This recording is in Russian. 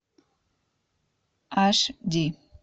аш ди